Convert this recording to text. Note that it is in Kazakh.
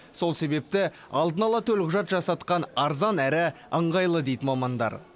сол себепті алдын ала төлқұжат жасатқан арзан әрі ыңғайлы дейді мамандар